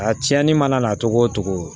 A tiɲɛnni mana na cogo o cogo